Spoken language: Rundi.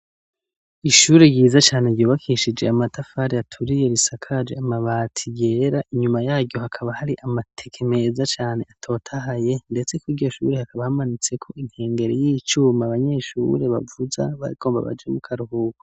ishuri ryiza cane ryubakishije amatafari aturiye risakaje amabati yera inyuma yaryo hakaba hari amateke meza cane atotahaye ndetse kwiryo shuri hakaba hamanitse ko inkengeri y'icuma abanyeshure bavuza bagomba baje mu karuhuko